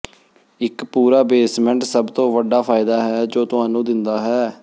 ਇੱਕ ਪੂਰਾ ਬੇਸਮੈਂਟ ਸਭ ਤੋਂ ਵੱਡਾ ਫਾਇਦਾ ਹੈ ਜੋ ਤੁਹਾਨੂੰ ਦਿੰਦਾ ਹੈ